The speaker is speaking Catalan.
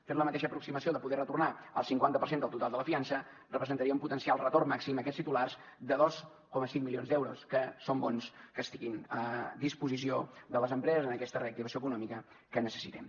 fent la mateixa aproximació de poder retornar el cinquanta per cent del total de la fiança representaria un potencial retorn màxim a aquests titulars de dos coma cinc milions d’euros que és bo que estiguin a disposició de les empreses en aquesta reactivació econòmica que necessitem